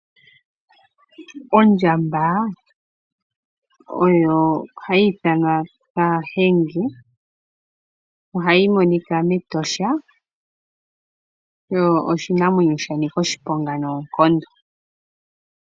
Ondjamba oyo hayi ithanwa kahenge, ohayi monika mEtosha, yo oshinamwenyo shanika oshiponga noonkondo.